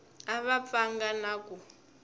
a va pfanga na ku